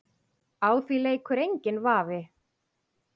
Á því leikur enginn vafi.